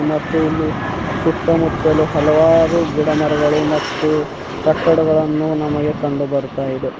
ಮತ್ತು ಇಲ್ಲಿ ಸುತ್ತಮುತ್ತಲು ಹಲವಾರು ಗಿಡಮರಗಳು ಮತ್ತು ಕಟ್ಟಡಗಳನ್ನು ನಮಗೆ ಕಂಡು ಬರ್ತಾಯಿದೆ.